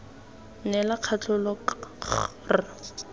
neela katlholo k g r